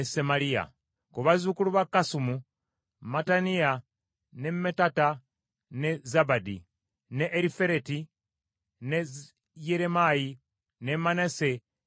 Ku bazzukulu ba Kasumu: Mattenayi, ne Mattata, ne Zabadi, ne Erifereti, ne Yeremayi, ne Manase, ne Simeeyi.